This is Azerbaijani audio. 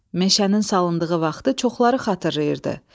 Meşənin salındığı vaxtı çoxları xatırlayırdı.